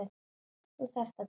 Þú þarft að deyja.